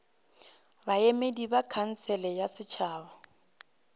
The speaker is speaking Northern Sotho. baemedi ba khansele ya setšhaba